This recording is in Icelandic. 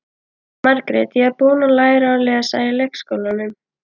Margrét: Ég er búin að læra að lesa í leikskólanum.